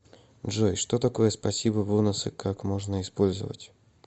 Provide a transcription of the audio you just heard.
джой что такое спасибо бонусы как можно использовать